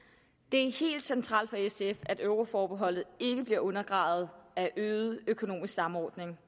det er helt centralt for sf at euroforbeholdet ikke bliver undergravet af øget økonomisk samordning